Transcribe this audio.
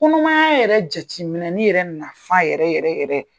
Kɔnɔmaya yɛrɛ jateminɛli yɛrɛ nafa yɛrɛ yɛrɛ yɛrɛ